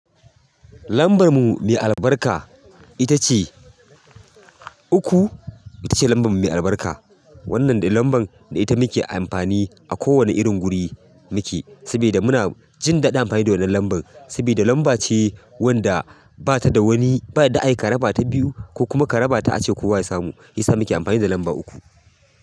Lambarmu mai albarka ita ce uku, ita ce lambarmu mai albarka. Wannan dai lambar da ita muke amfani a kowane irin guri muke, sabida muna jin daɗin amfani da wannan lambar. Saboda lamba ce wadda bata da wani, ba yanda xa ayi a raba ta biyu ko kuma ka raba ta ace kowa ya samu. Isa muke amfani da lamba uku.